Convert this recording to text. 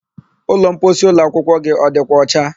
Ụlọmposi ụlọakwụkwọ gị ọ dịkwa ọcha?